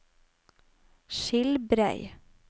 Skilbrei